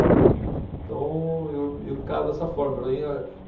Então, eu, eu encaro dessa forma.